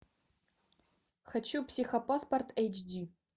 хочу психопаспорт эйч ди